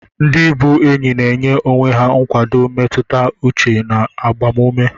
Ndị bu enyi na-enye onwe ha nkwado mmetụta uche na agbamume.